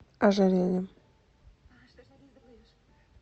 ожерельем